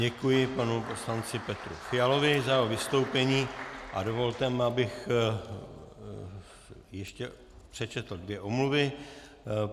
Děkuji panu poslanci Petru Fialovi za jeho vystoupení a dovolte mi, abych ještě přečetl dvě omluvy.